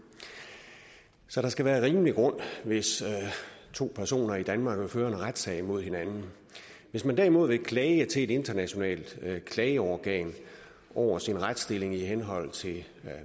så der skal være rimelig grund hvis to personer i danmark vil føre en retssag imod hinanden hvis man derimod vil klage til et internationalt klageorgan over sin retsstilling i henhold til